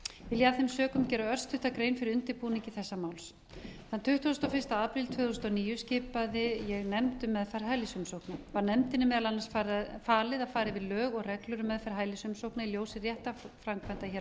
ég af þeim sökum gera örstutta grein fyrir undirbúningi þessa máls þann tuttugasta og fyrsti apríl tvö þúsund og níu skipaði ég nefnd um meðferð hælisumsókna var nefndinni meðal annars falið að fara yfir lög og reglur um meðferð hælisumsókna í ljósi réttarframkvæmda hér á